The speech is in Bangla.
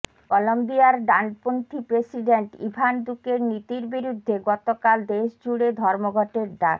কলম্বিয়ার ডানপন্থী প্রেসিডেন্ট ইভান দুকের নীতির বিরুদ্ধে গতকাল দেশজুড়ে ধর্মঘটের ডাক